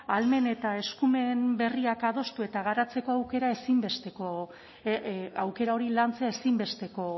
ahalmen eta eskumen berriak adostu eta garatzeko aukera ezinbestekoa aukera hori lantzea ezinbesteko